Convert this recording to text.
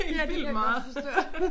Ja det kan jeg godt forstå